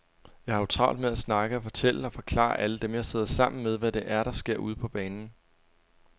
Jeg har jo travlt med at snakke og fortælle og forklare alle dem, jeg sidder sammen med, hvad det er, der sker ude på banen.